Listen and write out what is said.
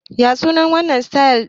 Ya sunan wannan sitayil ɗin?